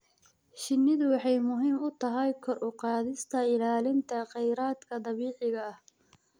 Shinnidu waxay muhiim u tahay kor u qaadista ilaalinta kheyraadka dabiiciga ah.